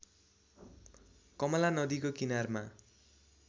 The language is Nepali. कमला नदीको किनारमा